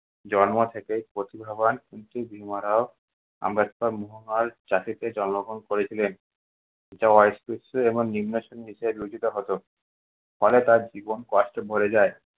জন্ম থেকেই প্রতিভাবান কিন্তু ভীমারাও আম্বেদকর জন্মগ্রহণ করেছিলেন। অস্পৃশ্য ও নিন্মশ্রেণী বলে বিবেচিত হতো। ফলে তার জীবন কষ্টে ভরে যায়।